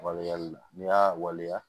Waleyali la n'i y'a waleya